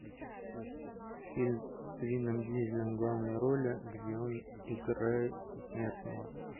фильм с вином дизелем в главной роли где он играет бессмертного